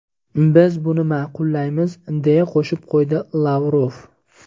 Biz buni ma’qullaymiz”, deya qo‘shib qo‘ydi Lavrov.